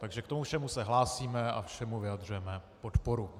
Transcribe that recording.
Takže k tomu všemu se hlásíme a všemu vyjadřujeme podporu.